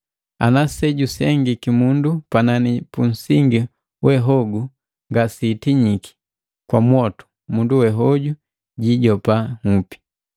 Ana sejusengiki mundu panani punsingi we hogu ngasitinyiki kwa mwotu mundu we hoju jijopa nhupi.